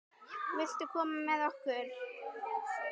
Viltu koma með okkur?